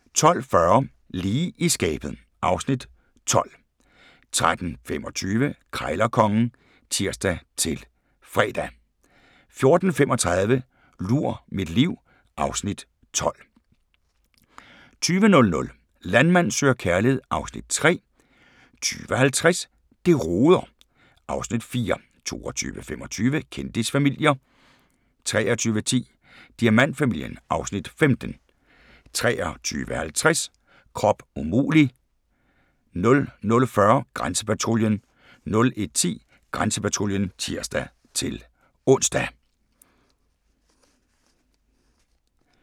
12:40: Lige i skabet (Afs. 12) 13:25: Krejlerkongen (tir-fre) 14:35: Lur mit liv (Afs. 12) 20:00: Landmand søger kærlighed (Afs. 3) 20:50: Det roder (Afs. 4) 22:25: Kendisfamilier 23:10: Diamantfamilien (Afs. 15) 23:50: Krop umulig! 00:40: Grænsepatruljen 01:10: Grænsepatruljen (tir-ons)